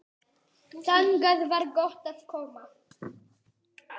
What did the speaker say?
Þangað var gott að koma.